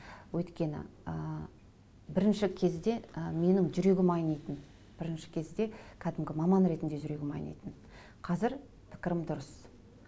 өйткені ы бірінші кезде ы менің жүрегім айнитын бірінші кезде кәдімгі маман ретінде жүрегім айнитын қазір пікірім дұрыс